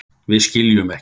Við skiljum ekki.